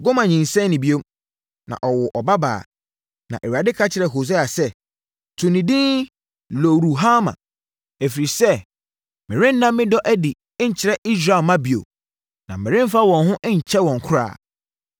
Gomer nyinsɛnee bio, na ɔwoo ɔbabaa. Na Awurade ka kyerɛɛ Hosea sɛ, “To ne din Lo-ruhama ɛfiri sɛ, merenna me dɔ adi nkyerɛ Israelfoɔ mma bio, na meremfa wɔn ho nnkyɛ wɔn koraa.